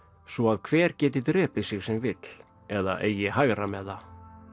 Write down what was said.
svo að hver geti drepið sig sem vill eða eigi hægra með það